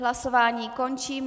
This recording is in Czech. Hlasování končím.